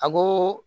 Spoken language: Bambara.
A ko